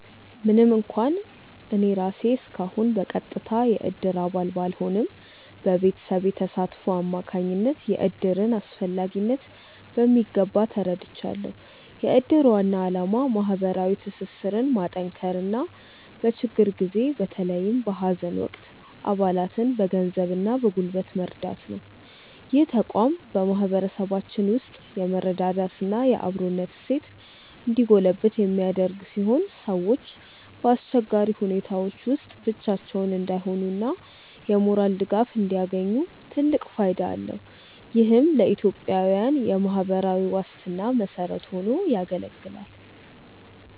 ምንም እንኳን እኔ ራሴ እስካሁን በቀጥታ የእድር አባል ባልሆንም፣ በቤተሰቤ ተሳትፎ አማካኝነት የእድርን አስፈላጊነት በሚገባ ተረድቻለሁ። የእድር ዋና ዓላማ ማህበራዊ ትስስርን ማጠናከርና በችግር ጊዜ በተለይም በሀዘን ወቅት አባላትን በገንዘብና በጉልበት መርዳት ነው። ይህ ተቋም በማህበረሰባችን ውስጥ የመረዳዳትና የአብሮነት እሴት እንዲጎለብት የሚያደርግ ሲሆን፣ ሰዎች በአስቸጋሪ ሁኔታዎች ውስጥ ብቻቸውን እንዳይሆኑና የሞራል ድጋፍ እንዲያገኙ ትልቅ ፋይዳ አለው። ይህም ለኢትዮጵያዊያን የማህበራዊ ዋስትና መሰረት ሆኖ ያገለግላል።